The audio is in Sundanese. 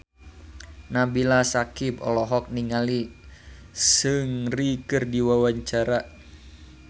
Nabila Syakieb olohok ningali Seungri keur diwawancara